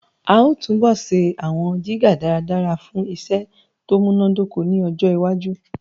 A ó túbọ̀ ṣe àwọn jígà dáradára fún iṣẹ́ tó múnádóko ní ọjọwájú